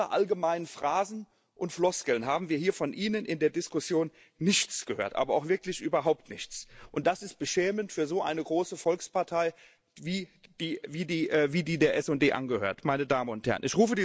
Außer allgemeinen Phrasen und Floskeln haben wir hier von Ihnen in der Diskussion nichts gehört, aber auch wirklich überhaupt nichts, und das ist beschämend für so eine große Volkspartei, wie jene, der die SD angehört, meine Damen und Herren.